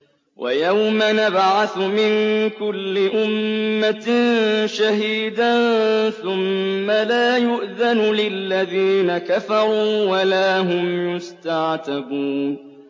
وَيَوْمَ نَبْعَثُ مِن كُلِّ أُمَّةٍ شَهِيدًا ثُمَّ لَا يُؤْذَنُ لِلَّذِينَ كَفَرُوا وَلَا هُمْ يُسْتَعْتَبُونَ